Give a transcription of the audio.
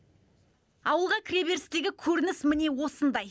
ауылға кіреберістегі көрініс міне осындай